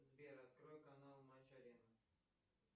сбер открой канал матч арена